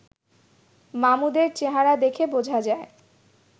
মামুদের চেহারা দেখে বোঝা যায়